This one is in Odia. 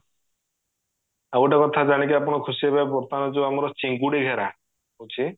ଆଉ ଗୋଟେ କଥା ଜାଣିକି ଆପଣ ଖୁସି ହେବେ ବର୍ତମାନ ଯୋଉ ଆମର ଚିଙ୍ଗୁଡି ଘେରା ଅଛି